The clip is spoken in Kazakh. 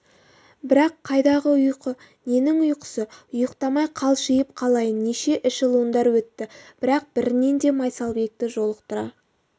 бірақ қайдағы ұйқы ненің ұйқысы ұйықтамай қалшиып қалайын неше эшелондар өтті бірақ бірінен де майсалбекті жолықтыра